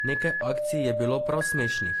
Nekaj akcij je bilo prav smešnih.